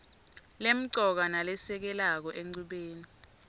lemcoka nalesekelako enchubeni